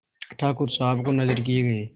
ठाकुर साहब को नजर किये गये